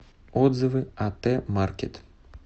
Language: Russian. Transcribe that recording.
отзывы ат маркет